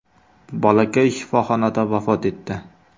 Bolakay shifoxonada vafot etdi.